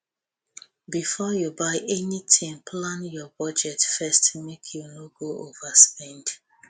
before you buy anything plan your budget first make you no go overspend